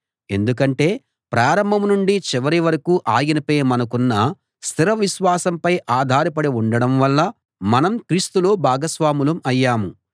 ఎందుకంటే ప్రారంభం నుండి చివరి వరకూ ఆయనపై మనకున్న స్థిర విశ్వాసంపై ఆధారపడి ఉండటం వల్ల మనం క్రీస్తులో భాగస్వాములం అయ్యాం